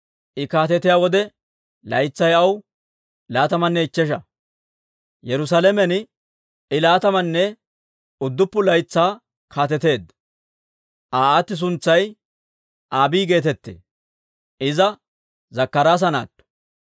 I kaatetiyaa wode laytsay aw laatamanne ichchesha; Yerusaalamen I laatamanne udduppun laytsaa kaateteedda. Aa aati suntsay Abii geetettee; Iza Zakkaraasa naatto.